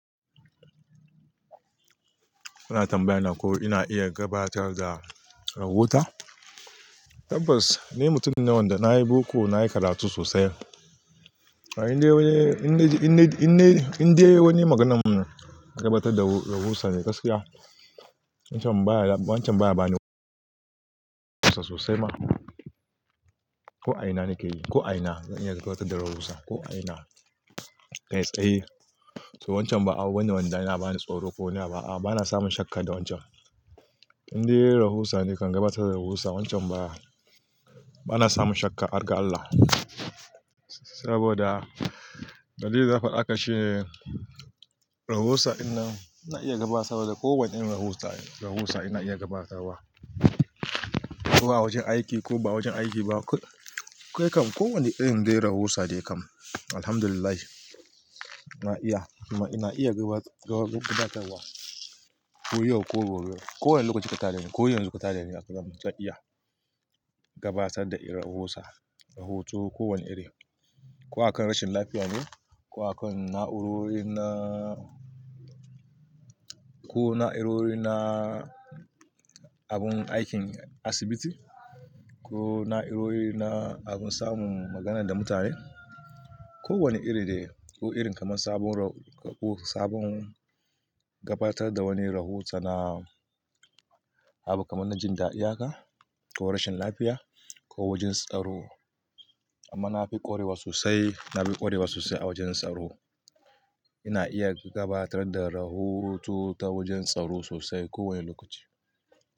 Kuna tambaya na ko ina iya gabatar da rahota? Tabbas ni mutum ne wanda na yi boko, na yi karatu sosai. Inde wani, inde, inde, inde wani maganan na gabatar da rahusa me gaskiya, wancan baya, wancan baya bani sosai ma. Ko a ina nake yi, ko a ina zan iya gabatar da rahusa, ko a ina. Kai tsaye. To wancan ba abu wanda wanda yana bani tsoro ko wane abu a'a bana samun shakka da wancan. Inde rahusa ne kan gabatar da rahusa wancan baya, bana samun shakka, ar ga Allah. Saboda dalilin da fada aka ce rahusa din nan idan na iya gabatar da kowane irin rahusa, rahusa ina iya gabatarwa. Ko a wajen aiki ko ba wajen aiki ba. Ko, ko yakan kowane irin dai rahusa dai kam. Alhamdulillah na iya, amma kuma iya gabatarwa, gabatarwa koyaushe ko gobe. Ko wane lokaci ka taro ni, ko yanzu ka taro ni haka zamu ta iya gabatar da irin rahusa, rahoto ko wane iri. Ko akan rashin lafiya ne, ko akan na'urori na, ko na'urori na abun aikin asibiti, ko na'urori na abun samun magana da mutane. Ko wane iri dai ko irin kamar sabon rau-- ko sabon gabatar da wani rahota na abu kamar na jin dadi haka, ko rashin lafiya, ko wajen tsaro. Amma na fi ƙwarewa sosai, na fi ƙwarewa sosai a wajen tsaro. Ina iya gabatar da rahoto ta wajen tsaro sosai kowane lokaci.